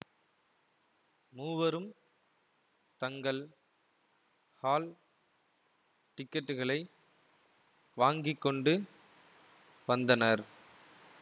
மூவரும் தங்கள் ஹால் டிக்கெட்டுகளை வாங்கி கொண்டு வந்தனர்